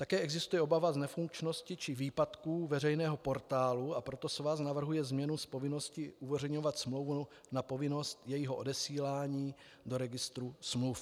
Také existuje obava z nefunkčnosti či výpadků veřejného portálu, a proto svaz navrhuje změnu z povinnosti uveřejňovat smlouvu na povinnost jejího odesílání do registru smluv.